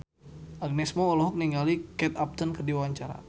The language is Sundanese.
Agnes Mo olohok ningali Kate Upton keur diwawancara